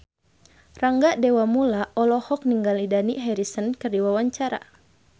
Rangga Dewamoela olohok ningali Dani Harrison keur diwawancara